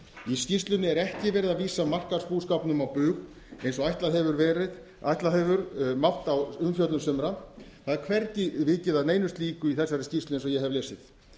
í skýrslunni er ekki verið að vísa markaðsbúskapnum á bug eins og ætla hefur mátt á umfjöllun sumra það er hvergi vikið að neinu slíku í þessari skýrslu eins og ég hef lesið